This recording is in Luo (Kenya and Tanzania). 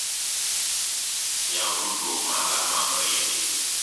yaw tudruok maga ma oriedi